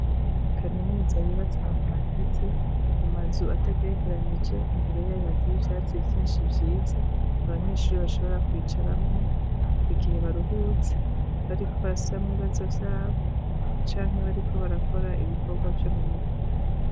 Ishure kaminuza ryubatse ahantu hateze mumazu atagerekeranije imbere yayo hateye ivyatsi vyinshi vyiza abanyeshure bashobora kwicaramwo igihe baruhutse bariko barasubiramwo ibibazo vyabo Canke bariko barakora ibikorwa vyo mumirwi.